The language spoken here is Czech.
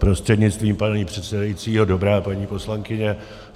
Prostřednictvím pana předsedajícího dobrá, paní poslankyně.